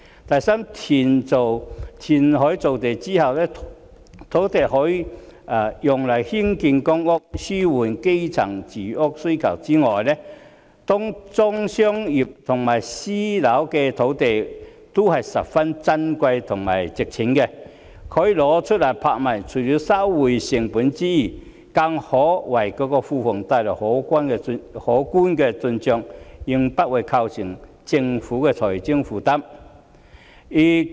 第三，填海造地之後，土地除了可以用來興建公屋，紓緩基層住屋需求之外，當中商業和私樓的土地都是十分珍貴和值錢的，可以拿出來拍賣，除了收回成本之外，更可為庫房帶來可觀的進帳，應不會對政府構成財政負擔。